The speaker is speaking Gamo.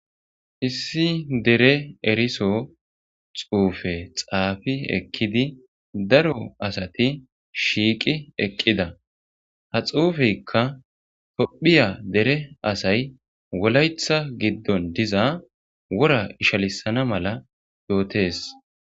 issi dere eriso xuufe xaafi ekkidi daro asati shiiqi eqqida ha xuufeykka tophiya dere asay wolayetha giddon diza wora ishalisana mala yootees